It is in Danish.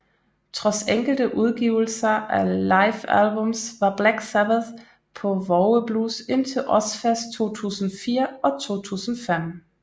Trods enkelte udgivelser af Live Albums var Black Sabbath på vågeblus indtil Ozzfest 2004 og 2005